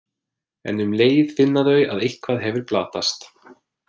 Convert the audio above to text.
En um leið finna þau að eitthvað hefur glatast.